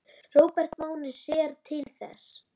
Róbert Máni sér til þess.